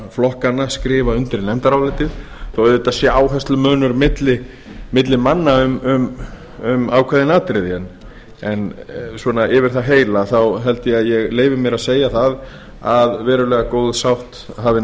flokkanna skrifa undir nefndarálitið þó að auðvitað sé áherslumunur milli manna um ákveðin atriði en yfir það heila held ég að ég leyfi mér að segja að verulega góð sátt hafi